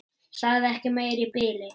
Sagði ekki meira í bili.